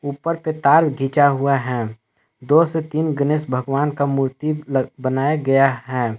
ऊपर से तार खींचा हुआ है दो से तीन गणेश भगवान का मूर्ति बनाया गया है।